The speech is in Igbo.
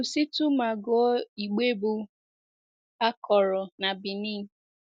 Kwụsịtụ ma gụọ igbe bụ́ “A Kọrọ na Benin .”